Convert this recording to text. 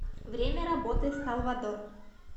время работы салвадор